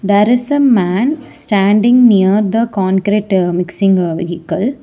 There is a man standing near the concrete mixing vehicle.